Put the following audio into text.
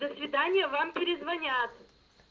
до свидания вам перезвонят